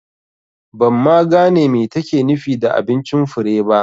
Ban ma gane me take nufi da abincin Fure ba